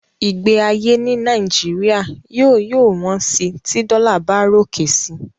Ìgbé ayé ní Nàìjíríà yóò yóò wón sí tí dollar bá ròkè si